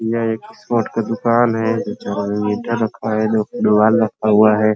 यहाँ एक स्पोर्ट का दुकान है रखा हुआ है।